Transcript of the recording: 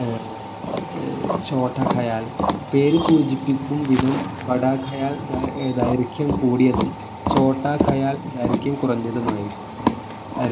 ആഹ് ഛോട്ടാ ഖയാൽ പേര് സൂചിപ്പിക്കും വിധം ബഡാ ഖയാൽ ധൈ ദൈർഘ്യം കൂടിയതും ഛോട്ടാ ഖയാൽ ദൈർഘ്യം കുറഞ്ഞതുമായിരിക്കും